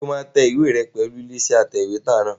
Ṣé o máa tẹ ìwé rẹ pẹ̀lú ilé-iṣẹ́ atẹ̀wétà náà?